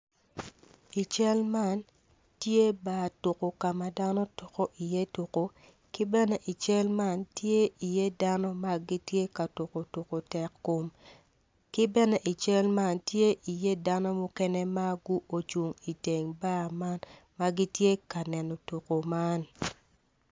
I cal man tye bar tuko ka ma dono tuko i ye tuko ki bene i cal tye i ye dano magitye ka tuko tuko tek kom ki bene i cal man tye i ye dano mukene ma gu ocung i teng bar man magitye kaneno tuko man.